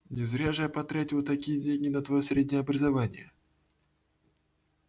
не зря же я потратил такие дикие деньги на твоё среднее образование